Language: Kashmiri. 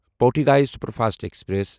Pothigai superfast express